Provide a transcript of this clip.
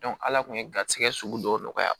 ala kun ye garisigɛ sugu dɔw nɔgɔya